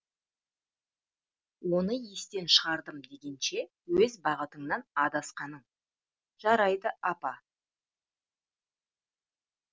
оны естен шығардым дегенше өз бағытыңнан адасқаның жарайды апа